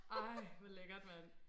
Ej hvor lækkert mand